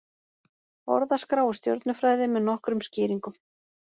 Orðaskrá úr stjörnufræði með nokkrum skýringum.